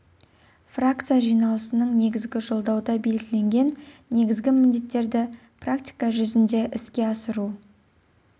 фракция жиналысының негізгі жолдауда белгіленген негізгі міндеттерді практика жүзінде іске асыру